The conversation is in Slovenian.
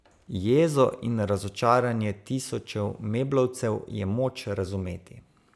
Jezo in razočaranje tisočev meblovcev je moč razumeti.